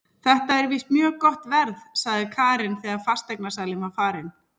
Þetta er víst mjög gott verð, sagði Karen þegar fasteignasalinn var farinn.